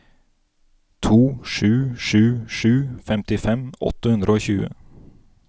to sju sju sju femtifem åtte hundre og tjue